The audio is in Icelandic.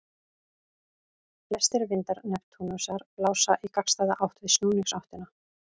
Flestir vindar Neptúnusar blása í gagnstæða átt við snúningsáttina.